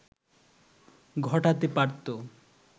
ঘটাতে পারতো